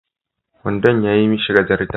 Wandon yayi mishi gajarta